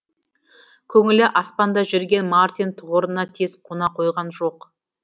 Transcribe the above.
көңілі аспанда жүрген мартин тұғырына тез қона қойған жоқ